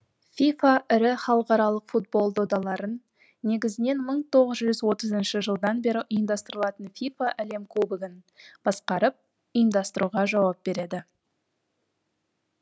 фифа ірі халықаралық футбол додаларын негізінен мың тоғыз жүз отызыншы жылдан бері ұйымдастырылатын фифа әлем кубогін басқарып ұйымдастыруға жауап береді